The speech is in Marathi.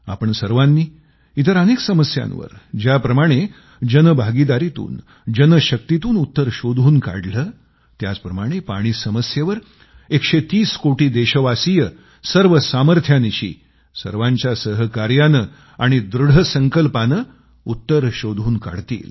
आपण सर्वांनी इतर अनेक समस्यांवर ज्याप्रमाणे जनभागीदारीतून जनशक्तीतून उत्तर शोधून काढले त्याचप्रमाणे पाणी समस्येवर एकशे तीस कोटी देशवासिय सर्व सामर्थ्यानिशी सर्वांच्या सहकार्याने आणि दृढ संकल्पाने उत्तर शोधून काढतील